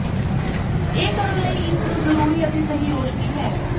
ਇਹ ਕਰਨ ਲਈ ਇਸ ਨੂੰ ਜ਼ਰੂਰੀ ਅਤੇ ਸਹੀ ਰੋਸ਼ਨੀ ਹੈ